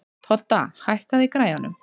Todda, hækkaðu í græjunum.